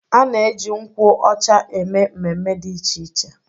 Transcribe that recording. A na-eji nkwụ ọcha eme mmemme dị iche iche.